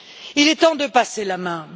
Il est temps de passer la main.